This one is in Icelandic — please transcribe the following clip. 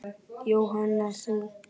Jóhanna: Þú?